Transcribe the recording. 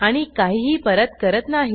आणि काहीही परत करत नाही